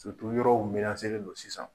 yɔrɔw don sisan.